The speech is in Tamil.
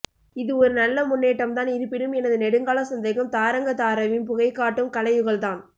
இது ஒரு நல்ல முன்னேட்டம்தான் இருப்பினும் எனது நெடுங்கால சந்தேகம் தாரங்கதாரவின் புகைகாட்டும் கலயுகல்தான்